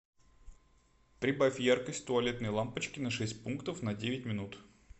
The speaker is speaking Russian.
прибавь яркость туалетной лампочки на шесть пунктов на девять минут